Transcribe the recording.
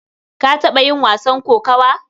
Ka taɓa yin wasan kokawa?